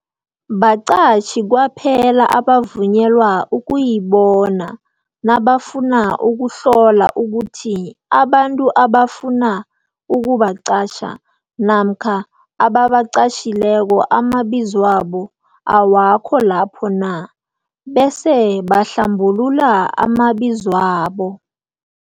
Baqatjhi kwaphela abavunyelwa ukuyibona nabafuna ukuhlola ukuthi abantu abafuna ukubaqatjha namkha ababaqatjhileko amabizwabo awakho lapho na, bese bahlambulula amabizwabo.